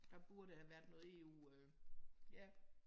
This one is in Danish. Der burde have været noget EU øh ja